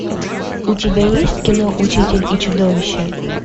у тебя есть кино учитель и чудовище